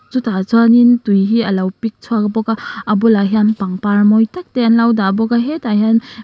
chutah chuanin tui hi alo pik chhuak bawka a bulah hian pangpar mawi tak te an lo dah bawka hetah hian.